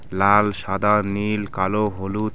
লাল সাদা নীল কালো হলুদ.